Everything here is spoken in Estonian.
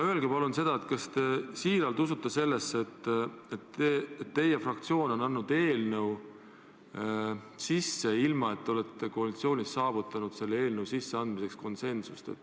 Öelge palun seda, kas te siiralt usute sellesse, et tegite õigesti, kui teie fraktsioon eelnõu üle andis, kuigi koalitsioonis selleks konsensust ei saavutatud.